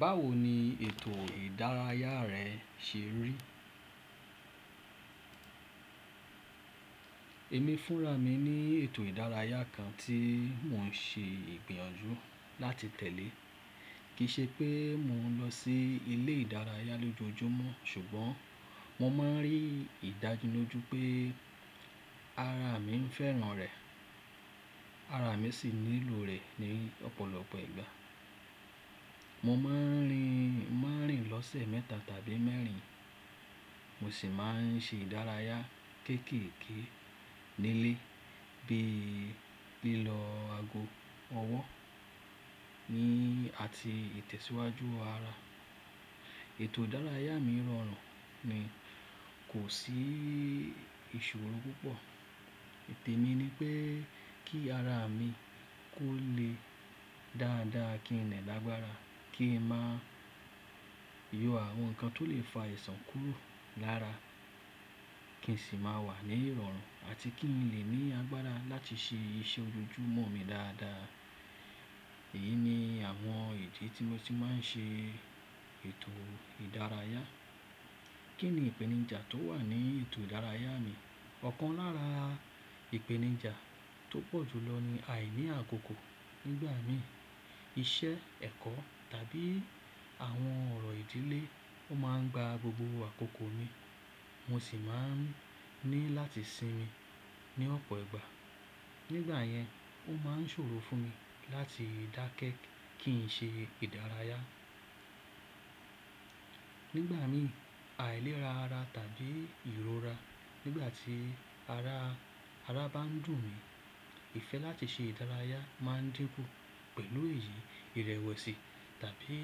Báwo ni ètò ìdárayá rẹ ṣe rí? Èmi fúnra mi ní ètò ìdárayá kan tí mò ń ṣe ìgbiyànjú láti tẹ̀lé. Kìí ṣe pé mò ń lọ sí ilé ìdárayá lójoojúmọ́ ṣùgbọ́n mo máa ń rí ìdániloju pé ara mi ń fẹ́ràn rẹ̀. Ara mi sì nílò rẹ̀ ní ọ̀pọ̀lọpọ̀ ìgbà. Mo máa ń rìn, máa ń rìn lọ́sẹ̀ mẹ́ta tàbí mẹ́rin. Mo sì máa ń ṣe ìdárayá kéékèèké nílé bí i lílọ ago ọwọ́ ní àti ìtẹ̀síwájú ara. Ètò ìdárayá mi rọrùn mi kò sí ìṣòro púpọ̀. Te mi ni pé kí ara mi kó le dáadáa, kí n lè lágbára, kí n má yọ àwọn nǹkan tó lè fa ìṣàn kúrò lára. Kí n sì má wà ní ìrọ̀rùn àti kí n lè ní agbára láti ṣe iṣẹ́ ojoojúmọ́ mi dáadáa. Èyí ni àwọn ète tí mo ti máa ń ṣe ètò ìdárayá. Kí ni ìpèníjà tó wà ní ètò ìdárayá mi? Ọ̀kan lára ìpèníjà tó pọ̀jù lọ ni àìní àkókò. Nígbà mìí iṣẹ́, ẹ̀kọ́ tàbí àwọn ọ̀rọ̀ ìdílé ó máa ń gba gbogbo àkókò mi, mo sì máa ń ní láti sinmi ní ọ̀pọ̀ ìgbà. Nígbà yẹn ó máa ń ṣòro fún mi láti dákẹ́ kí n ṣe ìdárayá. Nígbà mìí àìlera ara tàbí ìrora. Nígbà tí ara, ara bá ń dùn mí, ìfẹ́ láti ṣe ìdárayá má ń dínkù. Pẹ̀lú èyí ìrẹ̀wẹ̀sì tàbí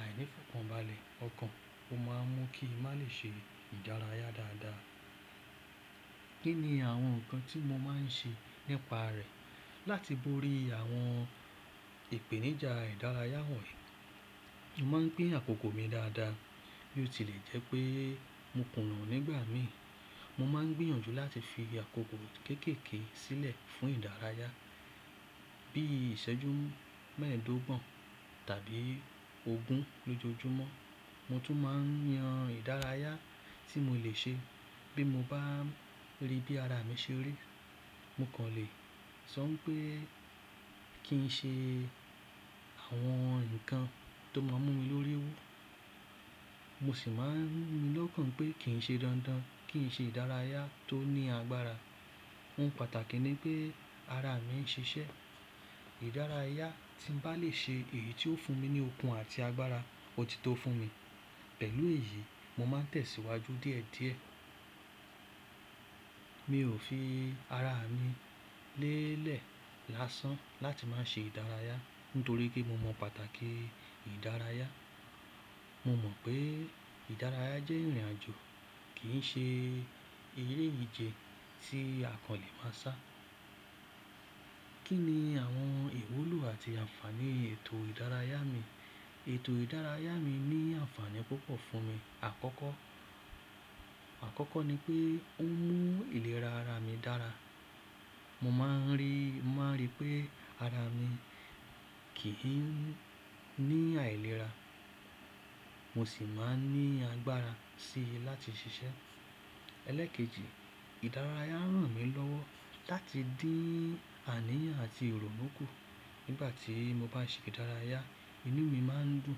àìní fọnpọ́nbalẹ̀ ọkàn ó máa mú kí n má lè ṣe ìdárayá dáadáa. Kí ni àwọn nǹkan tí mo máa ń ṣe nípa rẹ̀? Láti bóri àwọn ìpèníjà ìdárayá wọ̀nyí, mo máa ń gbé àkókò mi dáadáa. Bí ó tilẹ̀ jẹ́ pé mo kùnà nígbà mìí, mo máa ń gbìyànjú láti fi àkókò kéékèèké sílẹ̀ fún ìdárayá bí i ṣẹ́jú mẹ́ẹ̀ẹ́dógún tàbí ogún lójoojúmọ́. Mo tún máa ń yan ìdárayá tí mo lè ṣe bí mo bá rí bí ara mi ṣe rí. Mo kàn lè sọ pé kí n ṣe àwọn nǹkan tó máa mú mi lórí owó. Mo sì máa ń ríni lóòkàn pé kí n ṣe dandan, kí n ṣe ìdárayá tó ní agbára. Ohun pàtàkì ni pé ara mi ń ṣiṣẹ́. Ìdárayá tí n bá lè ṣe èyí tó fún mi ní okun àti agbára, òtítọ́ fún mi. Pẹ̀lú èyí mo máa ń tẹ̀síwájú díẹ̀díẹ̀. Mi ò fi ara mi lélẹ̀ lásán láti má ṣe ìdárayá nítorí pé mo mọ pàtàkì ìdárayá. Mo mọ̀ pé ìdárayá jẹ́ ìrìnàjò kì í ṣe eré ìje tí àkàn lè má sá. Kí ni àwọn ìwúlò àti ànfaàní ètò ìdárayá mi? Ètò ìdárayá mi ní ànfàní púpọ̀ fún mi. Àkọ́kọ́, àkọ́kọ́ ni pé ó ń mú ìlera ara mi dára. Mo máa ń rí, mo máa ń rí pé ara mi kì í ní àìlera. Mo sì máa ń ní agbára síi láti ṣiṣẹ́. Ẹlẹ́ẹ̀kejì, ìdárayá ràn mí lọ́wọ́ láti dín àníyàn àti ìrònú kù. Nígbà tí mo bá ṣe ìdárayá, inú mi má ń dùn,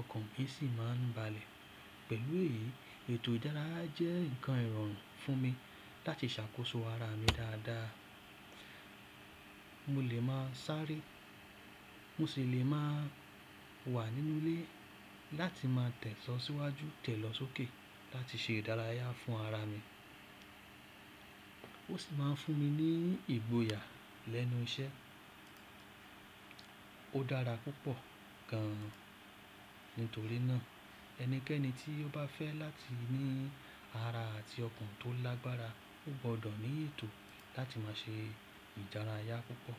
ọkàn mi sì má ń balẹ̀. Pẹ̀lú èyí ètò ìdárayá jẹ́ nǹkan ìrọ̀rùn fún mi láti ṣàkóso ara mi dáadáa. Mo lè máa sáré, mo sì lè máa wà nínú ilé láti máa tẹ̀síwájú tẹ̀ lọ sókè láti ṣe ìdárayá fún ara mi. Ó sì máa ń fún mi ní ìgboyà lẹ́nu iṣẹ́. Ó dára púpọ̀ gan-an. Nítorí náà ẹnikẹ́ni tí ó bá fẹ́ láti ní ara àti ọkàn tó lágbára ó gbọdọ̀ ní ètò láti máa ṣe ìdárayá púpọ̀.